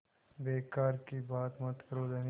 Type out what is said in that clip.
बेकार की बात मत करो धनी